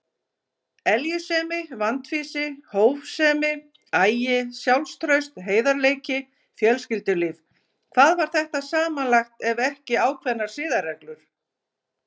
Eljusemi, vandfýsi, hófsemi, agi, sjálfstraust, heiðarleiki, fjölskyldulíf: hvað var þetta samanlagt ef ekki ákveðnar siðareglur?